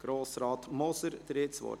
Grossrat Moser, Sie haben das Wort.